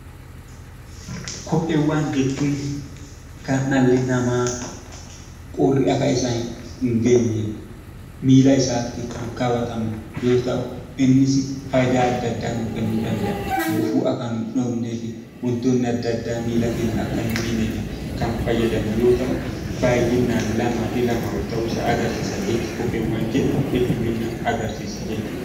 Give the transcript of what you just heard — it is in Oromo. Kopheewwan jechuun kan dhalli namaa quurri akka isaan hin geenyeef miilla isaatti kan kaawwatamu yoo ta'u innis faayidaa addaa addaa nuuf kennuu danda'a. Kunis gufuun akka nun dhoofneef, wantootni addaa addaa akka miilla keenya hin miineef kan fayyadamnu yoo ta'u; innis baayyinaan lamaa fi lamaa ol ta'uu isaa agarsiisa.